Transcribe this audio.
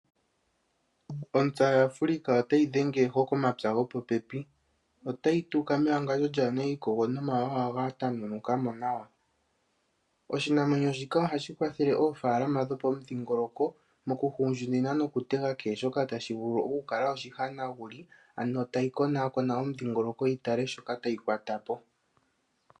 Ontsa yaAfrika ota yi dhengeko komapya go po pepi, otayi tuka mewangadjo kaa lina iikogo nomawawa ga tamunuka mo nawa. Oshinamwenyo shika oha shi kwathele oofalama dho pomudhingoloko oku hundjunina no kutega kehe shoka tashi vulu oku kala oshi hanaguli ano ta yi konaakona omudhingoloko yi tale shoka tayi kwatapo.